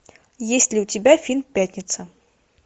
есть ли у тебя фильм пятница